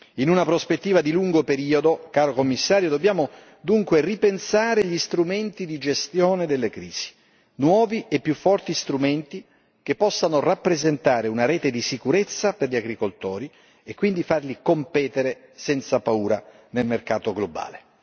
In una prospettiva di lungo periodo, caro Commissario, dobbiamo dunque ripensare gli strumenti di gestione delle crisi, nuovi e più forti strumenti che possano rappresentare una rete di sicurezza per gli agricoltori e quindi farli competere senza paura nel mercato globale.